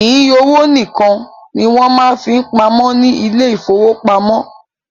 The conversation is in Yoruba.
Kìí owó nìkan ní wọn máa ń fí pamọ́ ní ile-ìfowópamó